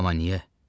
Amma niyə?